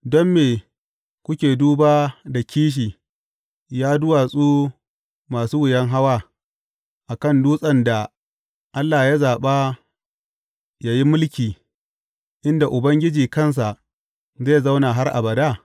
Don me kuke duba da kishi, ya duwatsu masu wuyan hawa, a kan dutsen da Allah ya zaɓa yă yi mulki, inda Ubangiji kansa zai zauna har abada?